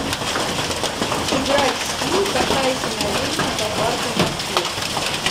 сыграть в скилл катайся на велике по паркам москвы